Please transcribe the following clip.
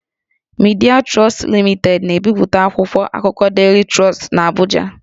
Midịa Trọstụ Limitedị na-ebipụta akwụkwọ akụkọ Daily Trust n'Abụja